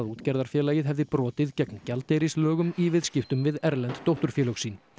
útgerðarfélagið hefði brotið gegn gjaldeyrislögum í viðskiptum við erlend dótturfélög sín